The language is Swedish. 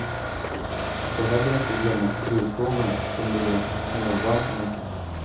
Vi får heller inte glömma kulturfrågorna, som ligger oss kvinnor varmt om hjärtat.